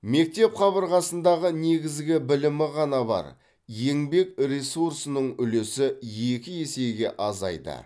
мектеп қабырғасындағы негізгі білімі ғана бар еңбек ресурсының үлесі екі есеге азайды